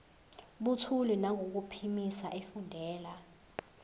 buthule nangokuphimisa efundela